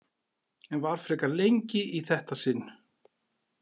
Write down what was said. En var frekar lengi í þetta sinn.